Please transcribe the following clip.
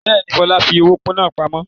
Bẹ́ẹ̀ni, Fọlá fi owó náà pamọ́.